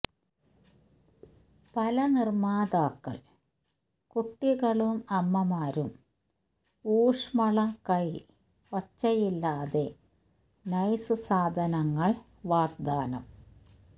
പല നിർമ്മാതാക്കൾ കുട്ടികളും അമ്മമാരും ഊഷ്മള കൈ ഒച്ചയില്ലാതെ നൈസ് സാധനങ്ങൾ വാഗ്ദാനം